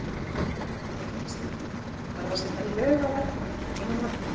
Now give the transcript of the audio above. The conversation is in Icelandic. Þóra Kristín: Þarf að setja lög á verkföll að þínu mati?